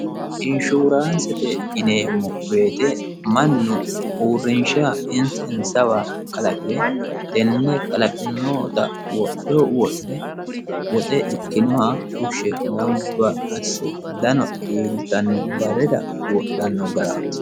Insurancete yineemmo woyte mannu uurrinsha insa insawa kalaqire tene kalaqinotta wodho wodhe woxe iqinoha fushe gamba asse dano iillittano barrira wodhano garati.